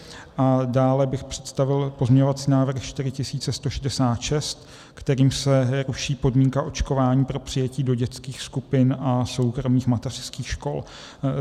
Dále bych představil pozměňovací návrh 4166, kterým se ruší podmínka očkování pro přijetí do dětských skupin a soukromých mateřských škol.